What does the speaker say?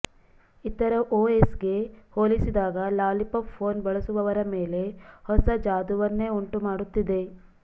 ಇತರ ಓಎಸ್ಗೆ ಹೋಲಿಸಿದಾಗ ಲಾಲಿಪಪ್ ಫೋನ್ ಬಳಸುವವರ ಮೇಲೆ ಹೊಸ ಜಾದೂವನ್ನೇ ಉಂಟುಮಾಡುತ್ತಿದೆ